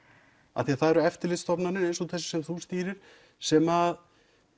af því að það eru eftirlitsstofnanir sem þú stýrir sem